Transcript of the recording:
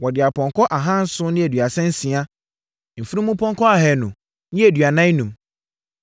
Wɔde apɔnkɔ ahanson ne aduasa nsia (736) mfunumpɔnkɔ ahanu ne aduanan enum (245).